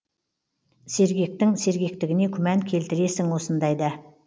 сергектің сергектігіне күмән келтіресің осындайда